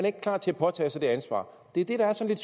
ikke klar til at påtage sig det ansvar det er det der er sådan